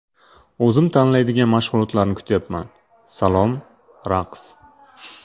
O‘zim tanlaydigan mashg‘ulotlarni kutyapman (salom, raqs!).